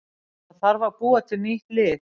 Það þarf að búa til nýtt lið.